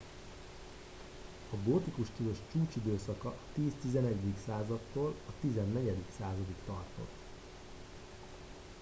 a gótikus stílus a csúcsidőszaka a 10-11. századtól a 14. századig tartott